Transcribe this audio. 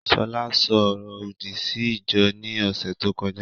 Ṣọlá ṣo ọrọ òdì sí ìjọ ní ọ̀sẹ̀ tó kọjá